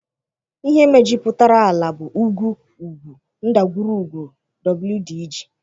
Ị́hé méjupụtárà álà bụ ùgwù, úgwù, ndagwurugwu, wdg.